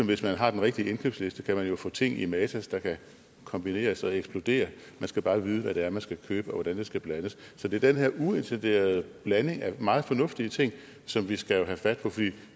hvis man har den rigtige indkøbsliste kan man jo få ting i matas der kan kombineres og eksplodere man skal bare vide hvad det er man skal købe og hvordan det skal blandes så det er den her uintenderede blanding af meget fornuftige ting som vi skal have fat på for